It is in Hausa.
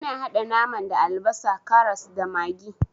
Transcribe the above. Ina haɗa naman da albasa, karas, da maggi.